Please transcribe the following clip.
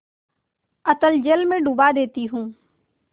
अतल जल में डुबा देती हूँ